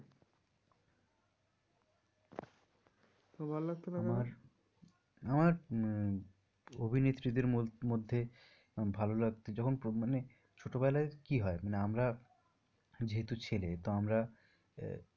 তোমার ভল্লাগ তো না কেনো? আমার আমার অভিনেত্রী দের মধ্যে ভালো লাগতো যখন মানে ছোটো বেলায় কি হয় না আমরা যেহেতু ছেলে তো আমরা